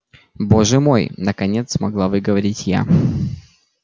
боже мой наконец смогла выговорить я